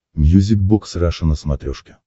мьюзик бокс раша на смотрешке